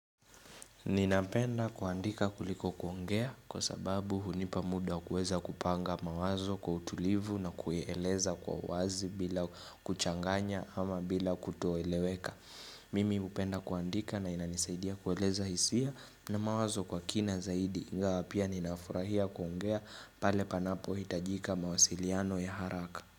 Ninapenda kuandika kuliko kuongea kwa sababu hunipamuda kueza kupanga mawazo kwa utulivu na kueleza kwa wazi bila kuchanganya ama bila kutoeleweka. Mimi hupenda kuandika na inanisaidia kueleza hisia na mawazo kwa kina zaidi ingawa pia ninafurahia kuongea pale panapohitajika mawasiliano ya haraka.